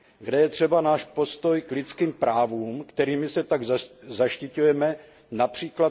Kde je třeba náš postoj k lidským právům, kterými se tak zaštiťujeme, např.